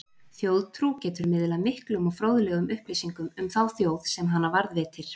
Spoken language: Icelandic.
Þjóðtrú getur miðlað miklum og fróðlegum upplýsingum um þá þjóð sem hana varðveitir.